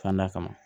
Kan d'a kama